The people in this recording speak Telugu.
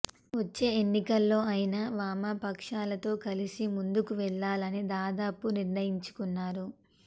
వచ్చే ఎన్నికల్లో ఆయన వామపక్షాలతో కలిసి ముందుకు వెళ్లాలని దాదాపు నిర్ణయించుకున్నారు